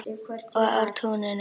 Og á túninu.